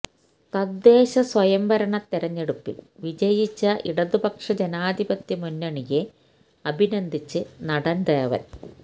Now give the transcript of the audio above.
തദ്ദേശ്ശസ്വയംഭരണ തിരഞ്ഞെടുപ്പിൽ വിജയിച്ച ഇടതുപക്ഷ ജനാധിപത്യ മുന്നണിയെ അഭിനന്ദിച്ച് നടൻ ദേവൻ